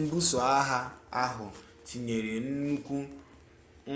mbuso agha ahụ tinyere nnukwu